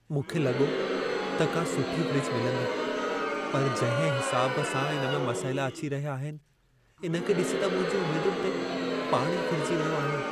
मूंखे लॻो त का सुठी फ़्रिज मिलंदी, पर जंहिं हिसाब सां इन में मसइला अची रहिया आहिनि, इन खे ॾिसी त मुंहिंजी उमेदुनि ते पाणी फिरजी वियो आहे।